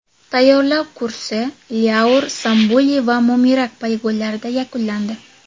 Tayyorlov kursi Lyaur, Sambuli va Momirak poligonlarida yakunlandi.